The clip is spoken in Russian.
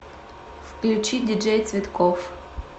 включи диджей цветков